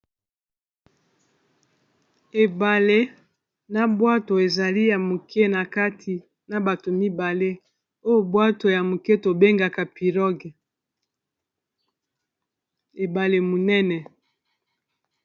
Ebale na bwato ezali ya moke na kati na bato mibale oyo bwato ya moke tobengaka pirogue ebale monene.